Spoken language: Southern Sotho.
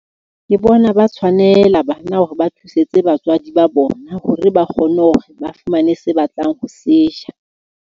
Ke bona ba tshwanela bana hore ba thusetse batswadi ba bona hore ba kgone hore ba fumane se batlang ho se ja.